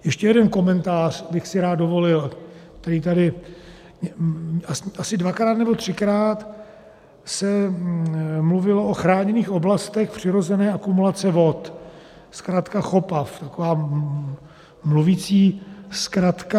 Ještě jeden komentář bych si rád dovolil, který tady... asi dvakrát nebo třikrát se mluvilo o chráněných oblastech přirozené akumulace vod, zkratka CHOPAV, taková mluvící zkratka.